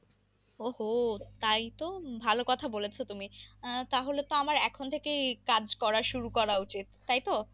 ও হো তাই তো ভালো কথা বলছো তুমি তাহলে তো আমার এখন থেকেই কাজ করা শুরু করা উচিত তাই তো?